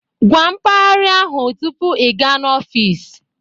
Gwa mpaghara ahụ tupu ị gaa n'ọfịs